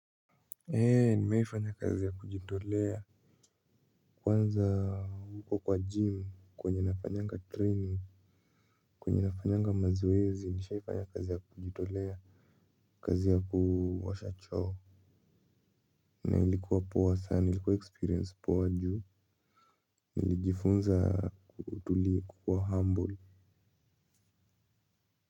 Ee nimewahi fanya kazi ya kujitolea kwanza huko kwa gym kwenye nafanyanga training kwenye nafanyanga mazoezi nishaifanya kazi ya kujitolea kazi ya kuosha choo na ilikuwa poa sana ilikuwa experience poa juu nilijifunza kutulia na kukua humble.